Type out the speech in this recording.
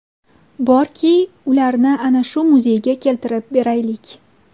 borki, ularni ana shu muzeyga keltirib beraylik.